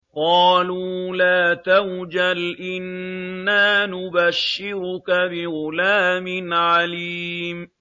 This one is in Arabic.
قَالُوا لَا تَوْجَلْ إِنَّا نُبَشِّرُكَ بِغُلَامٍ عَلِيمٍ